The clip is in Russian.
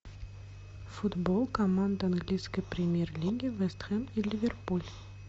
футбол команд английской премьер лиги вест хэм и ливерпуль